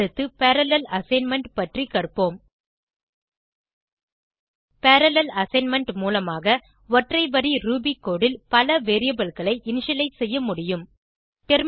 அடுத்து parallel assignment பற்றி கற்போம் பரல்லேல் அசைன்மென்ட் மூலமாக ஒற்றை வரி ரூபி கோடு ல் பல variableகளை இனிஷியலைஸ் செய்ய முடியும்